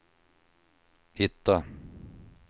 hitta